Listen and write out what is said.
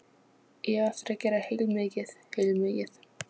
Ég á eftir að gera heilmikið, heilmikið.